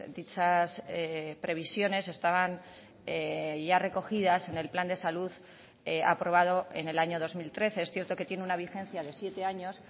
dichas previsiones estaban ya recogidas en el plan de salud aprobado en el año dos mil trece es cierto que tiene una vigencia de siete años